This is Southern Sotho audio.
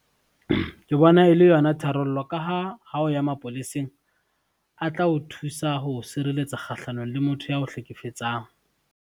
Ke bona e le yona tharollo ka ha, ha o ya mapoleseng, a tla o thusa ho sireletsa kgahlanong le motho yao hlekefetsang.